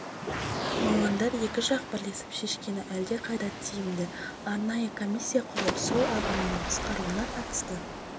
мамандар екі жақ бірлесіп шешкені әлдеқайда тиімді дейді арнайы комиссия құрылып су ағынының қысқаруына қатысты